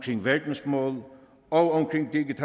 verdensmålene og